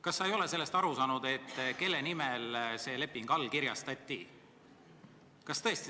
Kas sa ei ole aru saanud sellest, kelle nimel see leping allkirjastati?